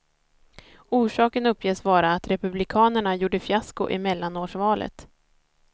Orsaken uppges vara att republikanerna gjorde fiasko i mellanårsvalet.